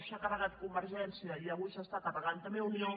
s’ha carregat convergència i avui es carrega també unió